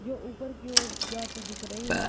जो ऊपर की ओर जाती दिख रही है।